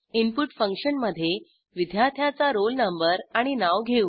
input फंक्शनमधे विद्यार्थ्याचा roll number आणि नाव घेऊ